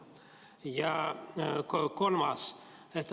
Ja kolmas.